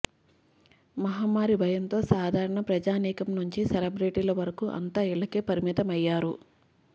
మహమ్మారి భయంతో సాధారణ ప్రజానీకం నుంచి సెలబ్రిటీల వరకు అంతా ఇళ్లకే పరిమితమయ్యారు